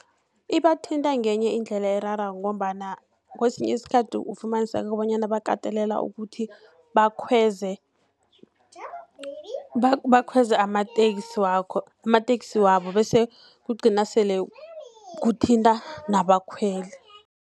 Ibathinta ngenye indlela erarako, ngombana kesinye iskhathi ufumaniseka bonyana bakateleleka ukuthi bakhweze amateksi wabo, bese kugcina sele kuthinta nabakhweli.